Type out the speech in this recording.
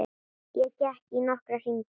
Ég gekk í nokkra hringi.